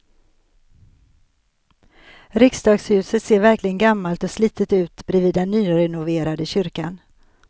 Riksdagshuset ser verkligen gammalt och slitet ut bredvid den nyrenoverade kyrkan.